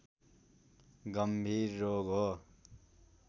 गंभीर रोग हो